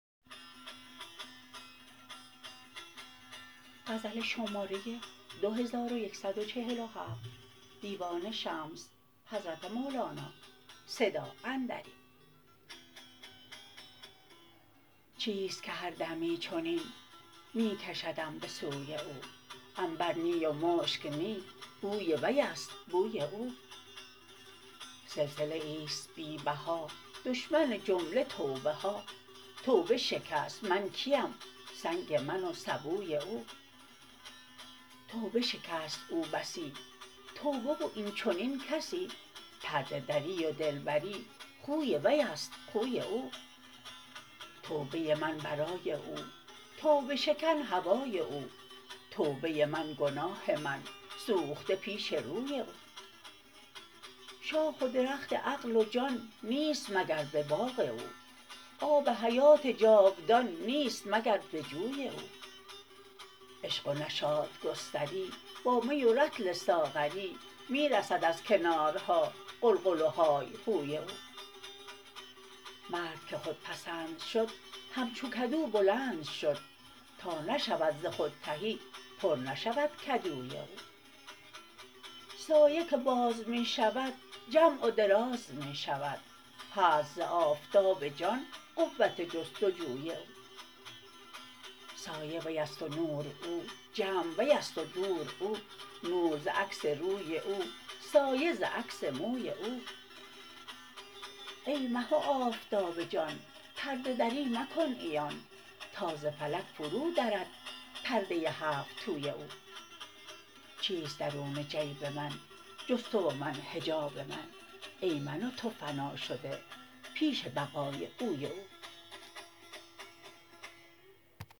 چیست که هر دمی چنین می کشدم به سوی او عنبر نی و مشک نی بوی وی است بوی او سلسله ای است بی بها دشمن جمله توبه ها توبه شکست من کیم سنگ من و سبوی او توبه شکست او بسی توبه و این چنین کسی پرده دری و دلبری خوی وی است خوی او توبه ی من برای او توبه شکن هوای او توبه من گناه من سوخته پیش روی او شاخ و درخت عقل و جان نیست مگر به باغ او آب حیات جاودان نیست مگر به جوی او عشق و نشاط گستری با می و رطل ساغری می رسد از کنارها غلغل و های هوی او مرد که خودپسند شد همچو کدو بلند شد تا نشود ز خود تهی پر نشود کدوی او سایه که باز می شود جمع و دراز می شود هست ز آفتاب جان قوت جست و جوی او سایه وی است و نور او جمع وی است و دور او نور ز عکس روی او سایه ز عکس موی او ای مه و آفتاب جان پرده دری مکن عیان تا ز فلک فرودرد پرده ی هفت توی او چیست درون جیب من جز تو و من حجاب من ای من و تو فنا شده پیش بقای اوی او